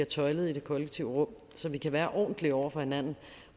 tøjlet i det kollektive rum så vi kan være ordentlige over for hinanden